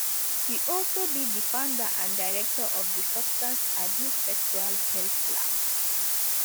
she also be di founder and director of di substance abuse sexual health lab